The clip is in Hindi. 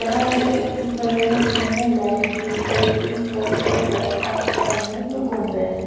यहां एक व्यक्ति खड़े हैं जिन्होंने लाइट ग्रीन कलर की शर्ट और ब्लैक पैंट पेहनी है जो घूम रहे--